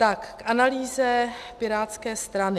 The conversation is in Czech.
K analýze pirátské strany.